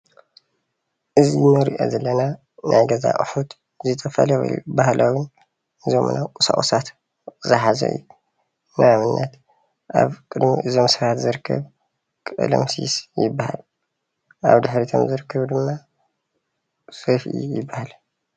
እዚ እንሪእኦ ዘለና ናይ ገዛ ኣቁሑት ዝተፈላለዩ ባህላውን ዘመናውን ቁሳቁሳት ዝሓዘ እዩ። ንኣብነት ኣብ ቅድሚ እዞም ሰባት ዝርከብ ቀለምሲስ ይበሃል። ኣብ ድሕሪኦም ዝርከብ ድማ ሰፍኢ ይበሃል።